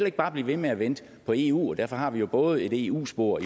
ikke bare blive ved med at vente på eu derfor har vi jo både et eu spor